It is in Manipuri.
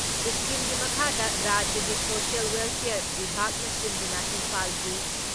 ꯏꯁꯀꯤꯝꯒꯤ ꯃꯈꯥꯗ ꯔꯥꯖ꯭ꯌꯒꯤ ꯁꯣꯁꯤꯌꯦꯜ ꯋꯦꯜꯐꯤꯌꯥꯔ ꯕꯤꯚꯥꯒꯅ ꯁꯤꯟꯗꯨꯅ ꯏꯝꯐꯥꯜꯒꯤ